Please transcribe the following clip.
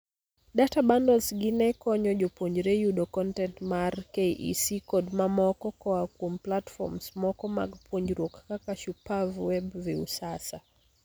Data bundles gi ne konyo jopuonjre yudo kontent mar KEC kod mamoko koaa kuom platforms moko mag puonjruok kaka Shupavu web ,viusasa